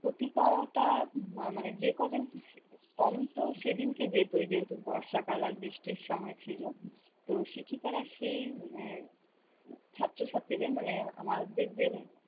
অতিপরতা উম মানে যে কযজন কমত সেদিনকে যেহেতু বর্ষাকাল আর বৃষ্টির সময় ছিল, তো শিক্ষিকারা সেই মানে ছাত্র-ছাত্রীদের মানে আমাদের যে-